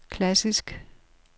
klassisk